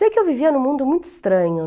Sei que eu vivia em um mundo muito estranho.